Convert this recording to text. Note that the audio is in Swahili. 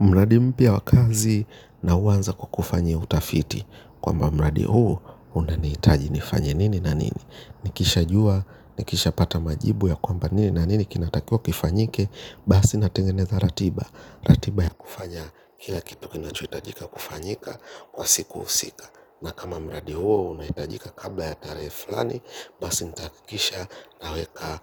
Mradi mpya wa kazi na huanza kw kufanya utafiti kwamba mradi huu unanihitaji nifanye nini na nini. Nikisha jua, nikisha pata majibu ya kwamba nini na nini kinatakiwa kifanyike. Basi natengeneza ratiba. Ratiba ya kufanya kila kitu kinachohitajika kufanyika kwa siku husika. Na kama mradi huo unahitajika kabla ya tarehe fulani basi nitahakikisha naweka